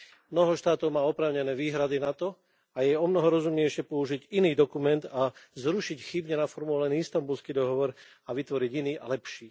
Mnoho štátov má k tomu oprávnené výhrady a je omnoho rozumnejšie použiť iný dokument a zrušiť chybne naformulovaný Istanbulský dohovor a vytvoriť iný a lepší.